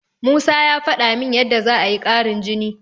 Musa ya faɗa min yadda za'a yi ƙarin jini.